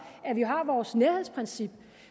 at vi har vores nærhedsprincip